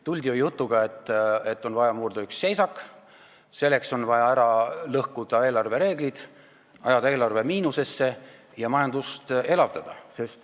Tuldi ju jutuga, et on vaja seisak murda ja selleks on vaja ära lõhkuda eelarvereeglid, ajada eelarve miinusesse ja majandust elavdada.